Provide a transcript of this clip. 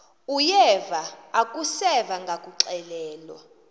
uyeva akuseva ngakuxelelwa